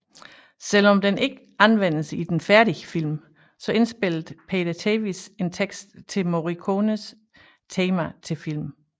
Selv om den ikke anvendes i den færdige film indspillede Peter Tevis en tekst til Morricones tema til filmen